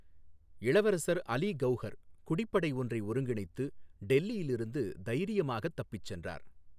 இளவரசர் அலி கௌஹர் குடிப்படை ஒன்றை ஒருங்கிணைத்து டெல்லியில் இருந்து தைரியமாகத் தப்பிச் சென்றார்.